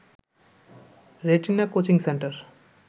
retina coaching centre